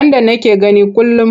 Wanda nake gani kullum.